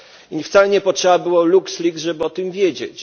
i wcale nie potrzeba było LuxLeaks, żeby o tym wiedzieć.